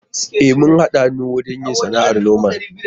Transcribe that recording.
E, mun haɗa hannu ne wajen yin sana'ar noman.